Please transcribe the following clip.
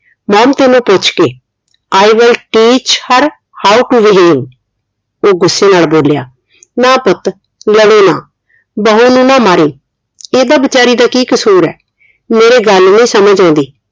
mom ਤੈਨੂੰ ਪੁੱਛ ਕੇ I will teach her how to behave ਉਹ ਗੁੱਸੇ ਨਾਲ ਬੋਲਿਆ ਨਾ ਪੁੱਤ ਲੜੋ ਨਾ ਬਹੁ ਨੂੰ ਨਾ ਮਾਰੀਂ ਇਹਦਾ ਬਿਚਾਰੀ ਦਾ ਕੀ ਕਸੂਰ ਹੈ ਮੇਰੇ ਗੱਲ ਨੀ ਸਮਝ ਆਉਂਦੀ